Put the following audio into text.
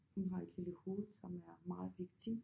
Hun har et lille hoved som er meget vigtigt